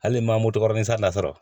Hali ma o dɔgɔ nsansara